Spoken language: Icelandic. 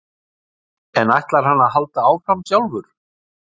En ætlar hann að halda áfram sjálfur?